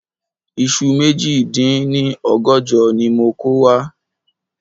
Iṣu méjì dín ní ọgọ́jọ ni mo kò wá